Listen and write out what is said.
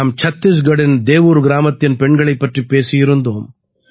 நாம் சத்தீஸ்கட்டின் தேவுர் கிராமத்தின் பெண்களைப் பற்றிப் பேசியிருந்தோம்